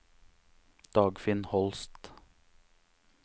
Dagfinn Holst